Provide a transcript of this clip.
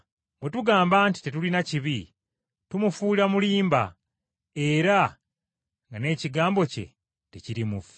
Bwe tugamba nti tetulina kibi, tumufuula mulimba era nga n’ekigambo kye tekiri mu ffe.